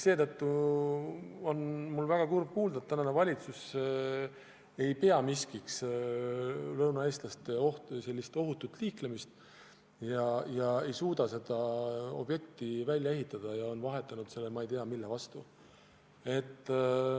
Seetõttu on mul väga kurb kuulda, et tänane valitsus ei pea lõunaeestlaste ohutut liiklemist miskiks ega suuda seda objekti välja ehitada ja on vahetanud selle ma ei tea, mille vastu.